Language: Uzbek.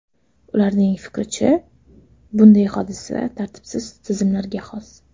Ularning fikricha, bunday hodisa tartibsiz tizimlarga xos.